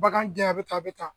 Bagan jaa ye a bɛ tan a bɛ tan.